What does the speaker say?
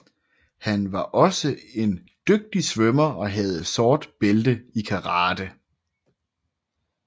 Han var også en dygtig svømmer og havde sort bælte i karate